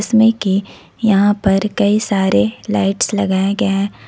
में की यहां पर कई सारे लाइट्स लगाया गया है।